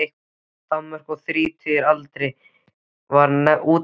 Danmörku, og þrítugur að aldri var hann útnefndur prófessor.